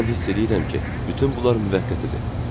Mən hiss eləyirəm ki, bütün bunlar müvəqqətidir.